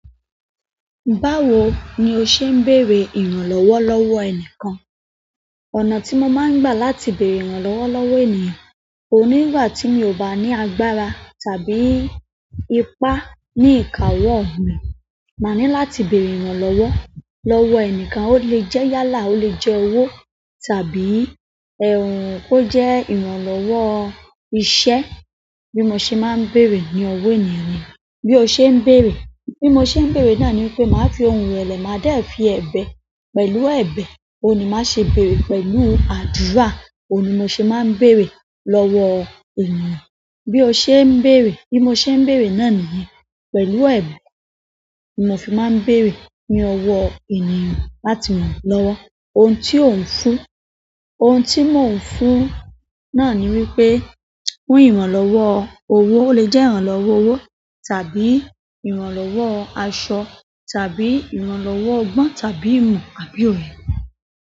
Báwo ni o ṣe ń bèrè ìrànlọ́wọ́ lọ́wọ́ ẹni kan? Ọ̀nà tí mo máa ń gbà láti bèrè ìrànlọ́wọ́ lọ́wọ́ ènìyàn, oun ni ngbà tí mi ò bá ní agbára tàbí ipá ní ìkawo mí, màá ní láti bèrè ìrànlọ́wọ́ lọ́wọ́ ẹni kan, ó lè jẹ́ yálà, ó lè jẹ́ owó tàbí, kó jẹ́ ìrànlọ́wọ́ iṣẹ́ bí mo ṣe máa ń bèrè ní ọwọ́ ènìyàn niyen. Bí o ṣe ń bèrè. Bí mo ṣe ń bèrè náà ni wípé màá fi ohun irẹ̀lẹ̀, màá dẹ fi ẹbẹ̀, pẹ̀lú ẹbẹ̀, òun ni màá ṣe bèerè pẹ̀lú àdúrà, òun ni mo ṣe máa ń beèrè lọ́wọ́ ènìyàn. Bí o ṣe ń bèrè. Bí mo ṣe ń bèrè náà nìyẹn. Pẹ̀lú ẹbẹ̀ ni mo fi máa ń bèrè ní ọwọ́ ènìyàn láti ràn mí lọ́wọ́. Ohun tí ó ń fún, ohun tí mò ń fún náà ni wípé, fún ìrànlọ́wọ́ owó, ó lè jẹ́ ìrànlọ́wọ́ owó tàbí ìrànlọ́wọ́ aṣọ tàbí ìrànlọ́wọ́ ọgbọ́n tàbí ìmọ̀ àbí òye.